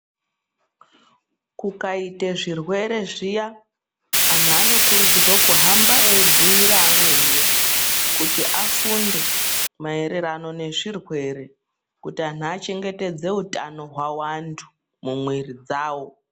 Kukaita zvirwere zviya andu anokuridzirwa kuhamba ebhuira vamweni kuti afunde maererano nezvirwere kuti anttu achengetedze utano wawo antu mumwiri dzavo.